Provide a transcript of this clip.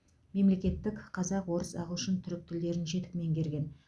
мемлекеттік қазақ орыс ағылшын түрік тілдерін жетік меңгерген